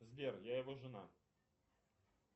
сбер я его жена